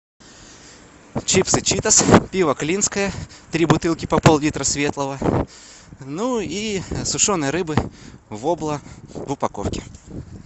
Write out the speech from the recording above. чипсы читос пиво клинское три бутылки по поллитра светлого ну и сушеной рыбы вобла в упаковке